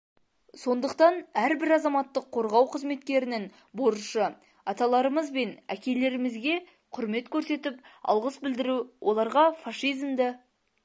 сондықтан әрбір азаматтық қорғау қызметкерінің борышы аталарымыз бен әкелерімізге құрмет көрсетіп алғыс білдіру оларға фашизмді